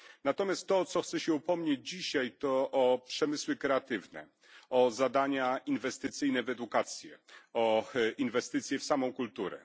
Natomiast to, o co chcę się upomnieć dzisiaj, to przemysły kreatywne, zadania inwestycyjne w edukację, inwestycje w samą kulturę.